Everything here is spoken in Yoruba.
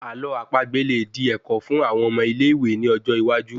Àlọ́ àpagbè lè di ẹ̀kọ́ fún àwon ọmọ ilé ìwé ní ọjọ iwájú